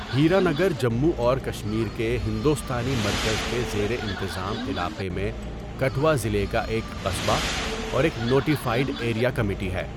ہیرا نگر جموں اور کشمیر کے ہندوستانی مرکز کے زیر انتظام علاقے میں کٹھوعہ ضلع کا ایک قصبہ اور ایک نوٹیفائڈ ایریا کمیٹی ہے۔